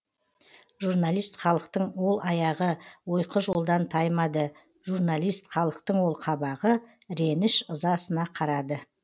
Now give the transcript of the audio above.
жұрналист халықтың ол аяғы ойқы жолдан таймады жұрналист халықтың ол қабағы іреніш ызасына қарады